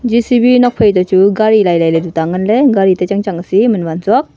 J_C_B nokphai to chu gari lai lai tuta ngan le gari ta chang chang si man wan tsuak.